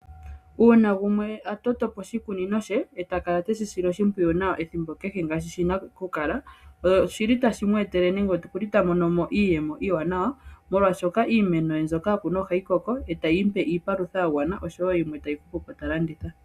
Uuna gumwe a totopo oshikunino she e takala teshi sile oshimpwiyu nawa ethimbo kehe ngaashi shi na okukala oshi li tashi mweetele nenge okuli ta mono mo iiyemo iiwanawa molwashoka iimeno mbyoka a kuna oha yi koko eta yi mupe iipalutha ya gwana oshowo yimwe tayi hupupo ta landitha.